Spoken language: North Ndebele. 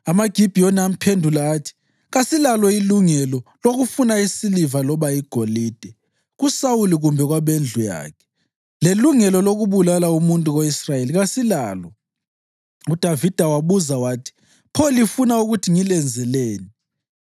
AmaGibhiyoni amphendula athi, “Kasilalo ilungelo lokufuna isiliva loba igolide kuSawuli kumbe kwabendlu yakhe, lelungelo lokubulala umuntu ko-Israyeli kasilalo.” UDavida wabuza wathi, “Pho lifuna ukuthi ngilenzeleni?”